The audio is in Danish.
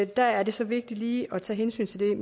der er det så vigtigt lige at tage hensyn til det